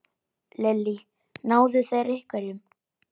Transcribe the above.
Lillý: Náðu þeir einhverjum?